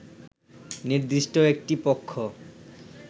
নির্দিষ্ট একটি পক্ষ